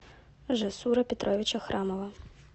жасура петровича храмова